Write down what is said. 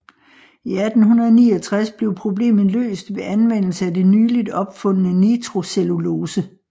I 1869 blev problemet løst ved anvendelse af det nyligt opfundne nitrocellulose